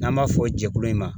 N'an b'a fɔ jɛkulu in ma